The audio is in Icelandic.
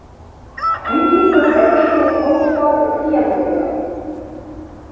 Víkingur er íslenskt tónskáld og píanóleikari.